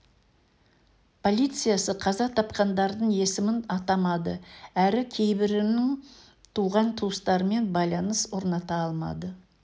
полициясы қаза тапқандардың есімін атамады әрі кейбірінің туған-туыстарымен байланыс орната алмады